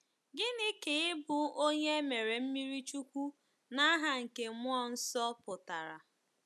Gịnị ka ịbụ onye e mere mmiri chukwu ‘n’aha nke mmụọ nsọ’ pụtara?